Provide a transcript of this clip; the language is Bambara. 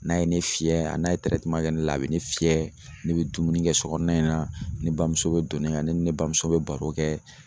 N'a ye ne fiyɛ a n'a ye kɛ ne la a bɛ ne fiyɛ, ne be dumuni kɛ so kɔɔna in na, ne bamuso bɛ don ne kan, ne ni ne bamuso bɛ baro kɛ.